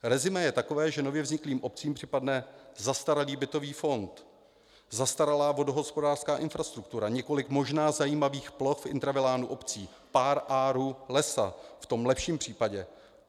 Resumé je takové, že nově vzniklým obcím připadne zastaralý bytový fond, zastaralá vodohospodářská infrastruktura, několik možná zajímavých ploch v intravilánu obcí, pár arů lesa v tom lepším případě.